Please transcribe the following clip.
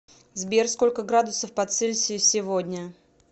сбер сколько градусов по цельсию сегодня